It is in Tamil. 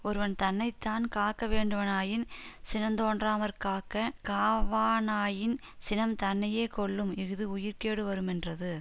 ஒருவன் தன்னை தான் காக்கவேண்டுவனாயின் சினந்தோன்றாமற் காக்க காவானாயின் சினம் தன்னையே கொல்லும் இஃது உயிர்க்கேடு வருமென்றது